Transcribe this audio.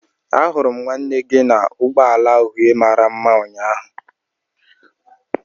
ahuru m nwanne nne gi n'ụgbọ ala uhie mara mma ụnyaahụ